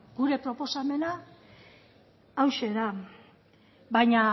gure proposamena hauxe da baina